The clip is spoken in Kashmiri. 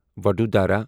وَڈٗودارا